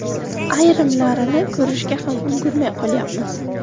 Ayrimlarini ko‘rishga ham ulgurmay qolyapmiz.